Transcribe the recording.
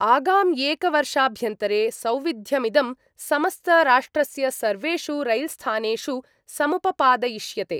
आगाम्येकवर्षाभ्यन्तरे सौविध्यमिदं समस्तराष्ट्रस्य सर्वेषु रैल्स्थानेषु समुपपादयिष्यते।